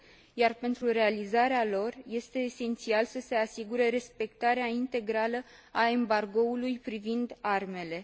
Iar pentru realizarea lor, este esențial să se asigure respectarea integrală a embargoului privind armele.